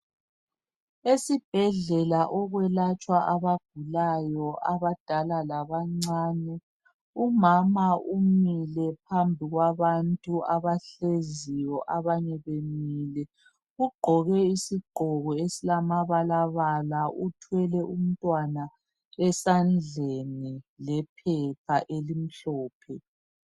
Esibhedlela okwelatshwa abagulayo abadala labancane. Umama umile phambi kwabantu abahleziyo abanye bemile ugqoke isigqoko esilamabalabala uthwele umntwana esandleni lephepha elimhlophe.